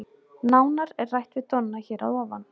Nánar er rætt við Donna hér að ofan.